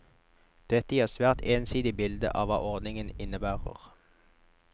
Dette gir et svært ensidig bilde av hva ordningen innebærer.